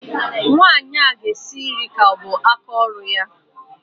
Nwaanyị ahụ ga-esi nri ka ọ bụ aka ọrụ ya